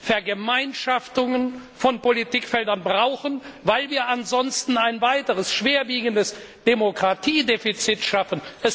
Vergemeinschaftungen von Politikfeldern brauchen, weil wir ansonsten ein weiteres schwerwiegendes Demokratiedefizit schaffen.